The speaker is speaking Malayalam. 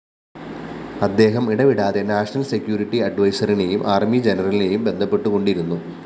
അദ്ദേഹം ഇടവിടാതെ നാഷണൽ സെക്യൂരിറ്റി അഡ്വൈസറിനെയും ആർമി ജനറലിനെയും ബന്ധപ്പെട്ടുകൊണ്ടിരുന്നു